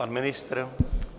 Pan ministr?